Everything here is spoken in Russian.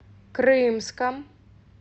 крымском